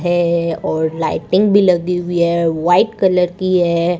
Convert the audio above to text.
हे और लाइटिंग भी लगी हुई है वाइट कलर की है।